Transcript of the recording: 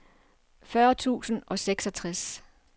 fyrre tusind og seksogtres